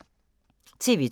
TV 2